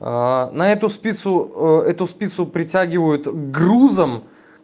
на эту спицу эту спицу притягивают грузом